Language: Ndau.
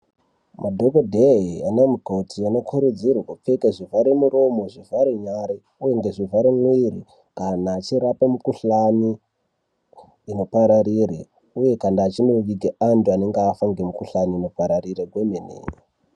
Madhokodheya nanamukoti vanokurudzirwe kupfeke zvivhara muromo, zvivhara nyara nezvivhara mwiri kana vachirape mikhuhlani inopararira uye kana achindoviga vanhu vanenge vafa ngemikuhlani inopararira kwemene.